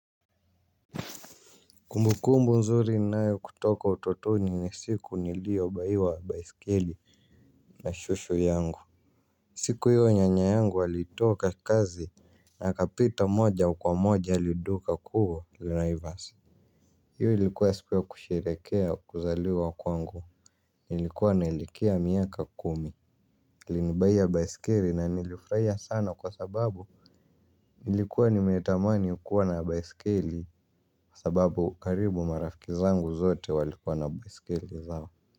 Kumbukumbu nzuri ninayo kutoka utotoni ni siku niliobuyiwa baisikeli na shosho yangu siku hiyo nyanya yangu alitoka kazi na akapita moja kwa moja hadi duka kuu Naivas. Hiyo ilikuwa siku ya kusherehekea kuzaliwa kwangu, nilikuwa naelekea miaka kumi alinibuyia baisikeli na nilifurahia sana kwa sababu nilikuwa nimetamani kua na baisikeli. Kwa sababu karibu marafiki zangu zote walikuwa na baisikeli zao.